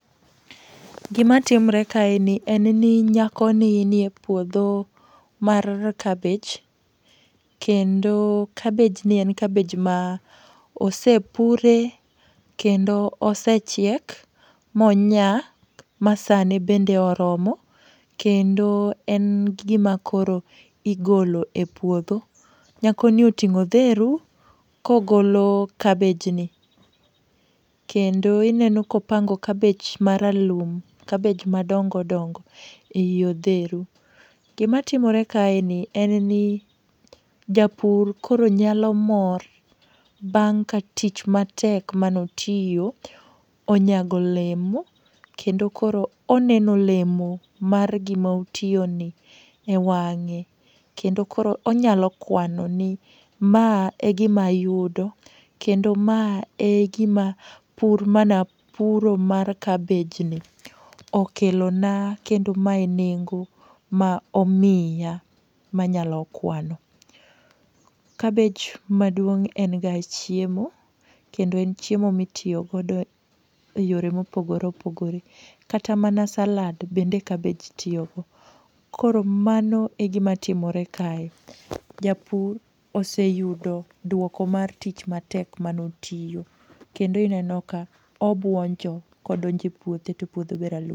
Gima timore kae ni en ni nyakoni nie puodho mar kabich. Kendo kabich ni en kabich ma osepure kendo osechiek ma onyak, ma sane bende oromo. Kendo en gima koro igolo e puodho. Nyako ni oting'o odheru ka ogolo kabich ni. Kendo ineno ka opango kabich maralum, kabich madongo dongo ei odheru. Gima timore kaeni en ni japur koro nyalo mor bang' ka tich matek mane otiyo, onyago olemo kendo koro oneno olemo mar gima otiyoni e wang'e. Kendo koro onyalo kwano ni ma e gima ayudo kendo ma e gima pur mane apuro mar kabich ni okelo na. Kendo mae e nengo ma omiya ma anyalo kwano. kabich maduong' en ga chiemo, kendo en chiemo ma itiyo godo e yore ma opogore opogore. Kata mana salad bende kabich tiyo go. Koro mano e gima timore kae. Japur oseyudo dwoko mar tich matek mane otiyo. Kendo ineno ka obwonjo kodonjo e puothe, to puothe ber.